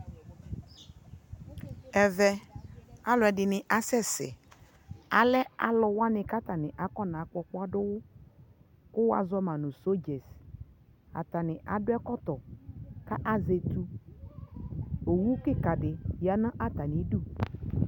ɛvɛ alʋɛdini asɛsɛ, alɛ alʋ wani kʋ atani aƒɔna gbɔ ɔkpɔa dʋwʋ kʋ wazɔma nʋ soldiers, atani adʋ ɛkɔtɔ kʋ azɛ ɛtʋʋ, ɔwʋ kikaa di yanʋ atami ʋdʋ